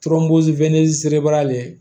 le